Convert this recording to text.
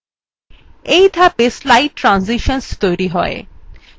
এই ধাপে slide transitions তৈরী হয়